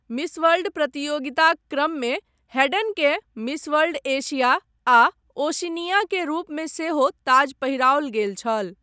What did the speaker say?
Miss World प्रतियोगिताक क्रममे हेडनकेँ 'मिस वर्ल्ड एशिया आ ओशिनिया' के रूपमे सेहो ताज पहिराओल गेल छल।